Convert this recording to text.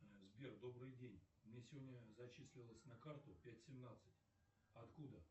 сбер добрый день мне сегодня зачислилось на карту пять семнадцать откуда